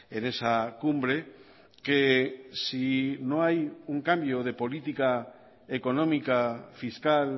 en esa cumbre que si no hay un cambio de política económica fiscal